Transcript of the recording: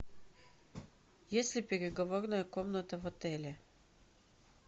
есть ли переговорная комната в отеле